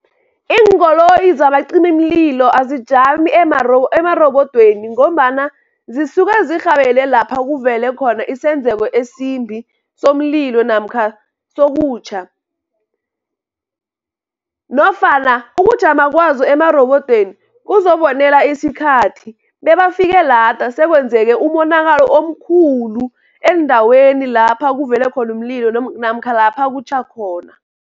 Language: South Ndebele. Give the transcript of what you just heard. Iinkoloyi zabacimimlilo azijami emarobodweni, ngombana zisuke zirhabele lapha kuvele khona isenzeko esimbi, somlilo namkha sokutjha. Nofana ukujama kwazo emarobodweni kuzobonela isikhathi, bebafike lada sekwenzeke umonakalo omkhulu, endaweni lapha kuvele khona umlilo namkha lapha kutjha khona.